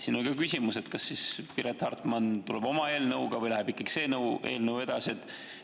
Seega on ka küsimus, kas Piret Hartman tuleb oma eelnõuga või läheb see eelnõu edasi.